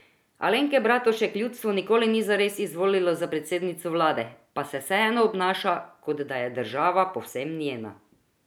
Alenke Bratušek ljudstvo nikoli ni zares izvolilo za predsednico vlade, pa se vseeno obnaša, kot da je država povsem njena.